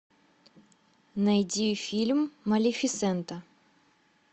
найди фильм малефисента